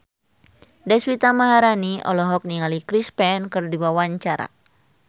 Deswita Maharani olohok ningali Chris Pane keur diwawancara